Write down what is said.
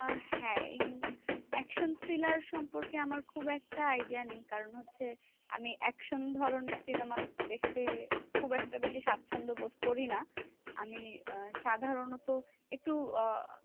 আহ হ্যাঁ এ action thriller সম্পর্কে আমার খুব একটা idea নেই। কারণ হচ্ছে আমি action ধরণের cinema দেখতে খুব একটা বেশি সাচ্ছন্দ বোধ করি না। আমি আহ সাধারণত একটু আহ